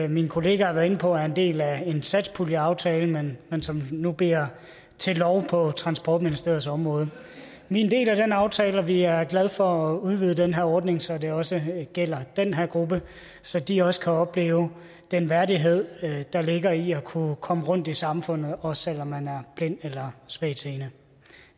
min kollega har været inde på er en del af en satspuljeaftale men som nu bliver til lov på transportministeriets område vi er en del af den aftale og vi er glade for at udvide den her ordning så det også gælder den her gruppe så de også kan opleve den værdighed der ligger i at kunne komme rundt i samfundet også selv om man er blind eller svagtseende